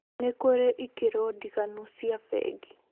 Nĩ kũrĩ ikĩro ndiganu cia bengi